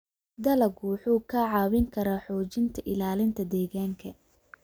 Dalaggu wuxuu kaa caawin karaa xoojinta ilaalinta deegaanka.